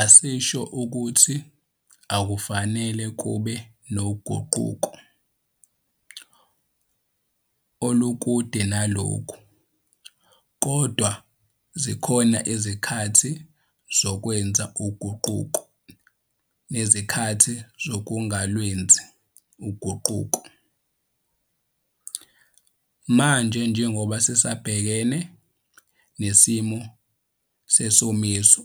Asisho ukuthi akufanele kube noguquko, olukude nalokho, kodwa zikhona izikhathi zokwenza uguquko nezikhathi zokungalwenzi uguquko. Manje njengoba sisabhekene nesimo sesomiso